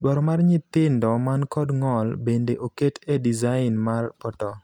Dwaro mar nyithindo man kod ng'ol bende oket e design mar portal.